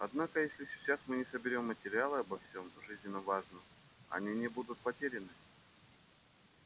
однако если сейчас мы соберём материалы обо всем жизненно важном они не будут потеряны